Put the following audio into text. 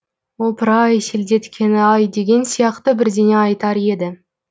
опыр ай селдеткені ай деген сияқты бірдеңе айтар еді